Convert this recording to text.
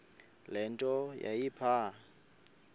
le nto yayipha